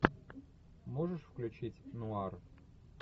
можешь включить нуар